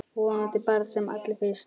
Vonandi bara sem allra fyrst.